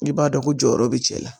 I b'a dɔn ko jɔyɔrɔ be cɛ la